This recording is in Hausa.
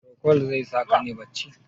Procold zai saka ni bacci?